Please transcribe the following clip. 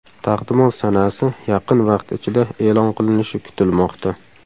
Taqdimot sanasi yaqin vaqt ichida e’lon qilinishi kutilmoqda.